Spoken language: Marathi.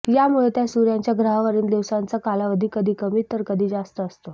यामुळे त्या सूर्याच्या ग्रहांवरील दिवसांचा कालावधी कधी कमी तर कधी जास्त असतो